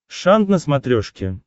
шант на смотрешке